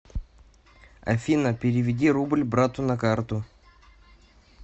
афина переведи рубль брату на карту